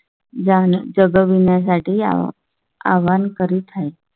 जग विण्यासाठी या आव्हान करीत आहे.